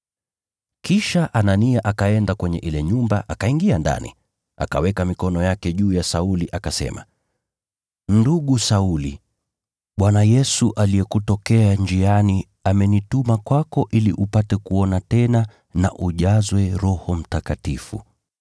Kisha Anania akaenda kwenye ile nyumba, akaingia ndani. Akaweka mikono yake juu ya Sauli akasema, “Ndugu Sauli, Bwana Yesu aliyekutokea njiani amenituma kwako ili upate kuona tena na ujazwe Roho Mtakatifu.”